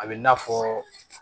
A bɛ n'a fɔ